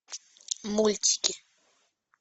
мультики